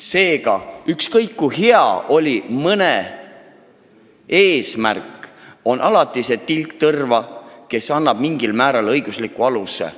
Seega, ükskõik kui hea võis olla kellegi eesmärk, on alati mängus ka tilk tõrva.